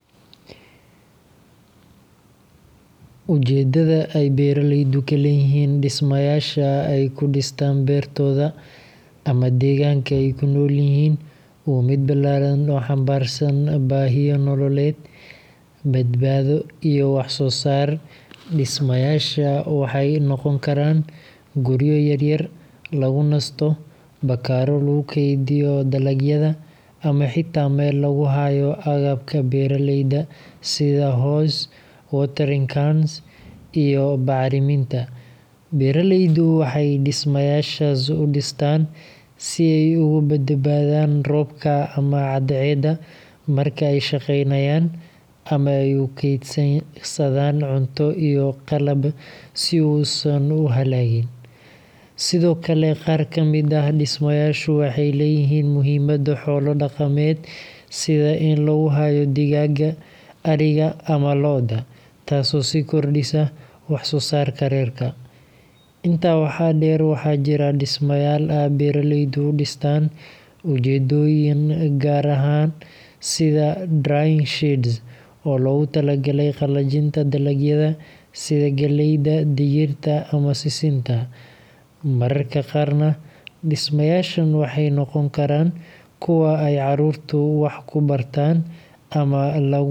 Ujeedada ay beeraleydu ka leeyihiin dhismayaasha ay ku dhistaan beertooda ama deegaanka ay ku nool yihiin waa mid ballaaran oo xambaarsan baahiyo nololeed, badbaado, iyo wax-soo-saar. Dhismayaashaas waxay noqon karaan guryo yar-yar lagu nasto, bakhaarro lagu keydiyo dalagyada, ama xitaa meel lagu hayo agabka beeraleyda sida hoes, watering cans, iyo bacriminta. Beeraleyda waxay dhismayaashaas u dhistaan si ay uga badbaadaan roobka ama cadceedda marka ay shaqaynayaan, ama ay ugu kaydsadaan cunto iyo qalab si uu uusan u halligin. Sidoo kale, qaar ka mid ah dhismayaashu waxay leeyihiin muhiimad xoolo-dhaqameed sida in lagu hayo digaagga, ariga, ama lo’da – taasoo sii kordhisa wax-soo-saarka reerka. Intaa waxaa dheer, waxaa jira dhismayaal ay beeraleydu u dhistaan ujeeddooyin gaar ah sida drying sheds oo loogu talagalay qalajinta dalagyada sida galleyda, digirta, ama sisinta. Mararka qaarna, dhismayaashan waxay noqon karaan kuwo ay carruurtu wax ku bartaan ama lagu qabto kulan.